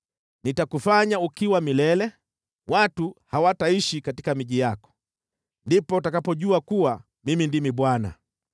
Nitakufanya ukiwa milele, watu hawataishi katika miji yako. Ndipo utakapojua kuwa Mimi ndimi Bwana .